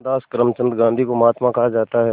मोहनदास करमचंद गांधी को महात्मा कहा जाता है